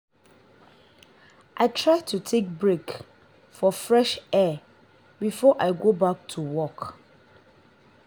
i try to take break for fresh air before i go back to work.